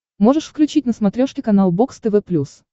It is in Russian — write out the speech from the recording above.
можешь включить на смотрешке канал бокс тв плюс